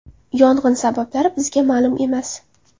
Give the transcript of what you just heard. Yong‘in sabablari bizga ma’lum emas.